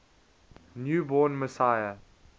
new born messiah